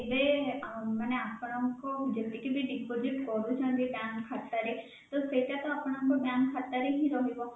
ଏବେ ମାନେ ଆପଣଙ୍କ ଯେତିକି ବି deposit କରୁଛନ୍ତି bank ଖାତା ରେ ତ ସେଇଟା ଆପଣଙ୍କ bank ଖାତା ରେ ହିଁ ରହିବ